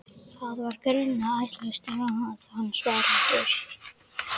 Það var greinilega ætlast til að hann svaraði fyrir sig.